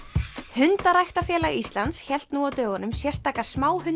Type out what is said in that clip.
hundaræktarfélag Íslands hélt nú á dögunum sérstaka